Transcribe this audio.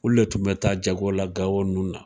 Olu le tun me taa jago la gawo ninnu na